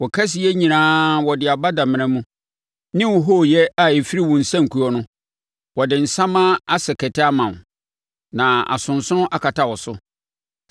Wo kɛseyɛ nyinaa wɔde aba damena mu, ne hooyɛ a ɛfiri wo nsankuo no; wɔde nsammaa asɛ kɛtɛ ama wo na asonsono akata wo so.